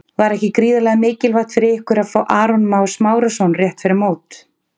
Var ekki gríðarlega mikilvægt fyrir ykkur að fá Aron Má Smárason rétt fyrir mót?